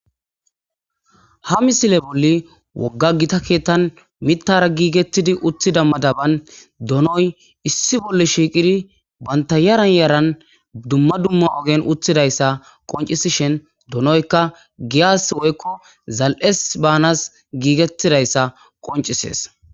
Ha missile bolli wogga gitta kettan mittara gigetidi uutida madaban doonoy issi bolli shiqqidi bantta yaran yaran dumma dumma oggen utidayssa qoncissishin doonoyka giyas woykko zal'es banas giggetidayssa qonccises.